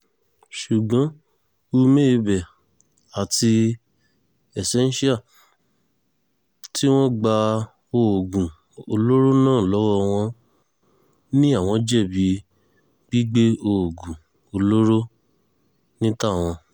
ṣùgbọ́n uméebẹ̀ àti ezenshall tí wọ́n gba oògùn olóró náà lọ́wọ́ wọn ni àwọn jẹ̀bi gbígbé oògùn olóró ní tàwọn